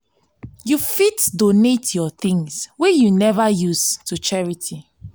you fit donate yur tins wey yu neva use to charity.